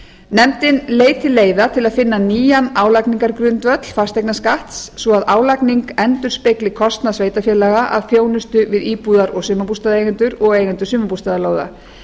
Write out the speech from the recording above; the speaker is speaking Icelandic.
nefndin leiti leiða til að finna nýjan álagningargrundvöll fasteignaskatts svo að álagning endurspegli kostnað sveitarfélaga af þjónustu við íbúðar og sumarbústaðaeigendur og eigendur sumarbústaðalóða